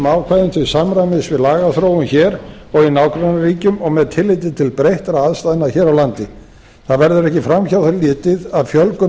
ákvæðum til samræmis við lagaþróun hér og í nágrannaríkjum og með tilliti til breyttra aðstæðna hér á landi það verður ekki fram hjá því litið að fjölgun